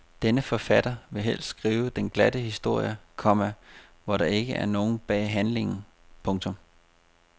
Denne forfatter vil helst skrive den glatte historie, komma hvor der ikke er noget bag handlingen. punktum